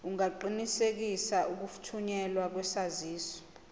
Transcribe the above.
ungaqinisekisa ukuthunyelwa kwesaziso